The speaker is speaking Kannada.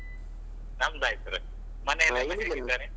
ನಮ್ದು ಆಯ್ತು sir ಮನೇಲೆಲ್ಲಾ ಹೇಗಿದ್ದಾರೆ?